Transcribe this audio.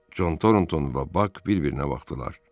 Con Torontoun və Bak bir-birinə baxdılar.